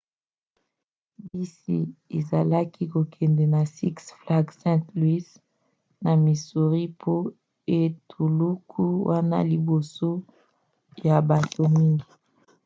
bisi ezalaki kokende na six flags st. louis na missouri po etuluku wana liboso ya bato mingi